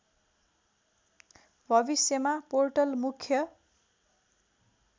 भविष्यमा पोर्टल मुख्य